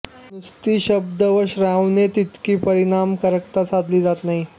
नुसत्या शब्द वां श्राव्याने तितकी परिणामकारकता साधली जात नाही